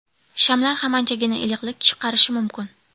Shamlar ham anchagina iliqlik chiqarishi mumkin.